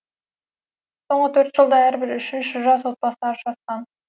соңғы төртінші жылда әрбір үшінші жас отбасы ажырасқан